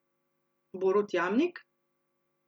Borut Jamnik?